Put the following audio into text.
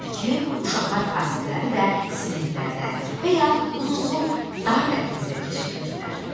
Odur ki, uşaqlar fasilələri də siniflərdən və ya uzunsov dar dəhlizdə keçirirdilər.